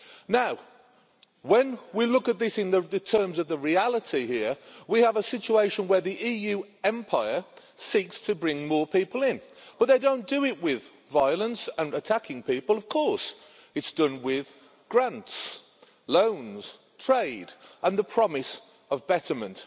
Now, when we look at this in the terms of the reality here, we have a situation where the EU Empire seeks to bring more people in, but they don't do it with violence and attacking people, of course, it's done with grants, loans, trade and the promise of betterment.